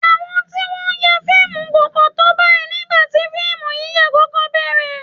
Àwọn tí wọ́n ń ya fíìmù kò pọ̀ tó báyìí nígbà tí fíìmù yíyà kọ́kọ́ bẹ̀ẹ̀rẹ̀